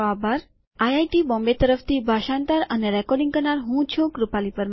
IIT Bombay તરફથી ભાષાંતર કરનાર છે કૃપાલી પરમાર અને રેકોર્ડીંગ કરનાર હું છું શિવાની ગડા આભાર